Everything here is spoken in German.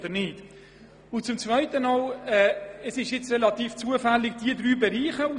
Zweitens wurden diese drei Bereiche relativ zufällig herausgegriffen.